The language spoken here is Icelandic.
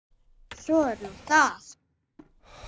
Svo er nú það.